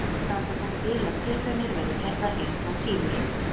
Vonir standa þó til að tilraunir verði gerðar engu að síður.